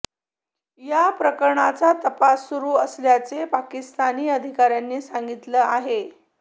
या प्रकरणाचा तपास सुरू असल्याचे पाकिस्तानी अधिकाऱ्यांनी सांगितलं आहे